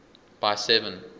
by seven